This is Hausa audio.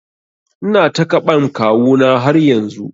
Ina takaɓan kawu na har yanzu